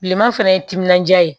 Bilenman fana ye timinandiya ye